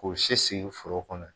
K'o si foro kɔnɔ ye.